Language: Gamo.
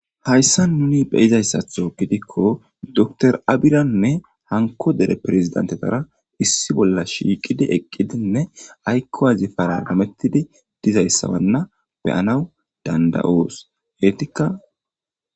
hayssa nuni be'zayssaththo gidikko docter abiranne hanko dere perezidantetara issi bolla shiiqidi eqidinne aykowazi paragamettidi dizayssawanna beyanaw danda7oos heetikka